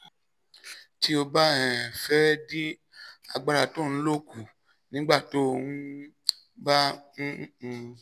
tí o bá um fẹ́ dín agbára tó o ń lò kù nígbà tó o um bá ń um